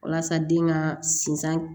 Walasa den ka sinsin